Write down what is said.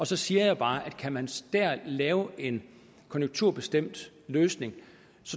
så siger jeg bare at kan man der lave en konjunkturbestemt løsning